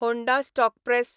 Honda stock press